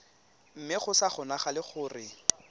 mme go sa kgonagale gore